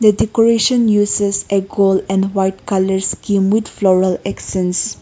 decoration uses a gold and white colours floral extends.